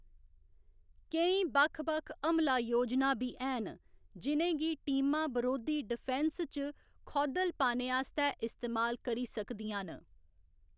केईं बक्ख बक्ख हमला योजनां बी हैन, जि'नें गी टीमां बरोधी डिफेंस च खौद्धल पाने आस्तै इस्तेमाल करी सकदियां न।